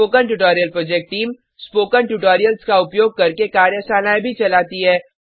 spoken tutorial project team spoken tutorials का उपयोग करके कार्यशालाएँ भी चलाती है